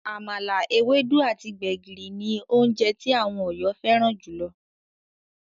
Àmàlà, ewédú, àti gbẹ̀gìrì ní oúnje tí àwọn Ọ̀yọ́ fẹ́ràn júlọ.